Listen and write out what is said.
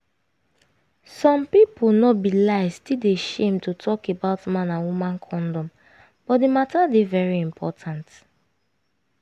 some pipu no be lie still dey shame to talk about man and woman condom but di matter dey very important